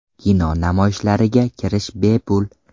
Kino namoyishlariga kirish bepul.